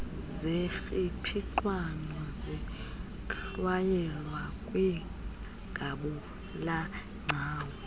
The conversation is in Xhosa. zernpixano zihlwayelwa kwingabulagcawu